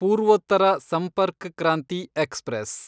Purvottar Sampark Kranti express